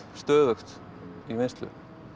stöðugt í vinnslu